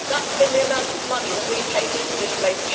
That has been the amount of money that we have paid into this place.